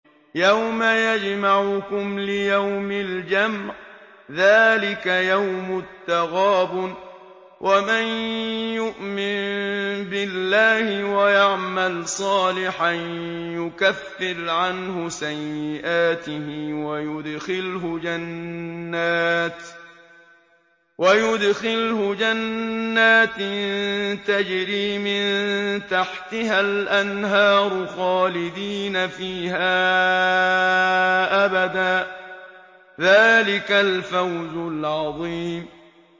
يَوْمَ يَجْمَعُكُمْ لِيَوْمِ الْجَمْعِ ۖ ذَٰلِكَ يَوْمُ التَّغَابُنِ ۗ وَمَن يُؤْمِن بِاللَّهِ وَيَعْمَلْ صَالِحًا يُكَفِّرْ عَنْهُ سَيِّئَاتِهِ وَيُدْخِلْهُ جَنَّاتٍ تَجْرِي مِن تَحْتِهَا الْأَنْهَارُ خَالِدِينَ فِيهَا أَبَدًا ۚ ذَٰلِكَ الْفَوْزُ الْعَظِيمُ